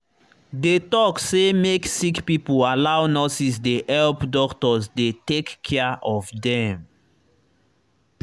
they talk say make sick pipo allow nurses dey help doctors dey take care of dem.